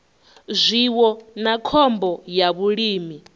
zwiwo na khombo ya vhulimi